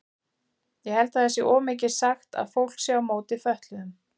Ég held það sé of mikið sagt að fólk sé á móti fötluðum.